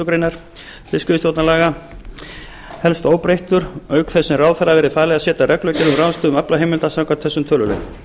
greinar fiskveiðistjórnarlaga helst óbreyttur auk þess sem ráðherra verði falið að setja reglugerð um ráðstöfun aflaheimilda samkvæmt þessum tölulið